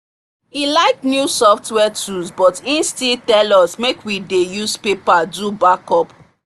he like new software tools but he still tell us make we dey use paper do backup